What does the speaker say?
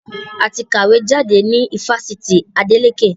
A ti kàwé jáde ní Fáṣítì Adeleke